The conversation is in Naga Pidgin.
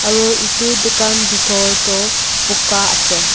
aru edu dukan bhitor toh buka ase.